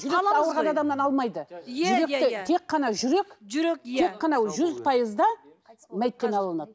жүректі ауырған адамнан алмайды жүректі тек қана жүрек жүрек иә тек қана жүрек жүз пайызда мәйттен алынады